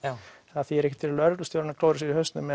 það þýðir ekkert fyrir lögreglustjórann að klóra sér í hausnum